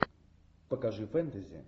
покажи фэнтези